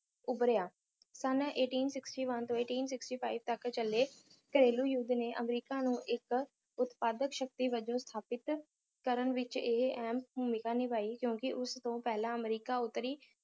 ਉਭਰਿਆ ਸਨ eighteen sixty one to eighteen sixty five ਤਕ ਚਲੇ ਘਰੇਲੂ ਯੁੱਧ ਨੇ ਅਮਰੀਕਾ ਨੂੰ ਇਕ ਉਤਪਾਦਕ ਸ਼ਕਤੀ ਵਜੋਂ ਸਥਾਪਿਤ ਕਰਨ ਵਿਚ ਇਹ ਅਹਿਮ ਭੂਮਿਕਾ ਨਿਭਾਈ ਕਿਉਂਕਿ ਉਸ ਤੋਂ ਪਹਿਲਾਂ ਅਮਰੀਕਾ ਉਤਰੀ